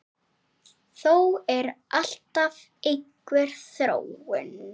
Þó er alltaf einhver þróun.